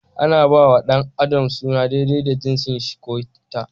Ana ba wa da adam suna daidai da jinsin shi/ ta.